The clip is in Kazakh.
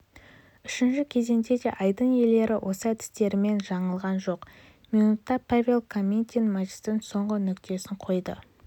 үшінші кезеңде де айдын иелері осы әдістерінен жаңылған жоқ минутта павел копытин матчтың соңғы нүктесін қойды